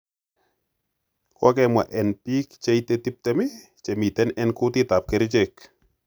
Kokwemwa en pik cheite 20 chemiten en kutitap kerichek.